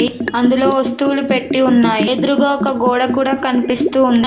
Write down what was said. అందులో వస్తువులు పెట్టి ఉన్నాయి ఎదురుగా ఒక గోడ కూడా కనిపిస్తూ పైన--